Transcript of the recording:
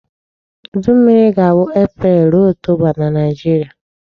Udu mmiri ga-abụ April rụo October na Nigeria.